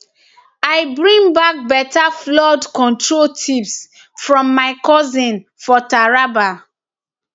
i bring bak beta flood control tips from my cousin for taraba